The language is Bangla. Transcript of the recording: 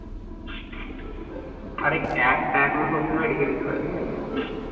আরে একটা account বর্তমানে রেখে দিতে হয়। ঠিক আছে?